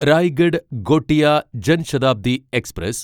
Raigad Gondia Jan Shatabdi express